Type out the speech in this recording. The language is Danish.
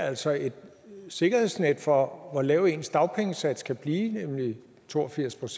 altså et sikkerhedsnet for hvor lav ens dagpengesats kan blive nemlig to og firs